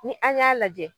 Ni an y'a lajɛ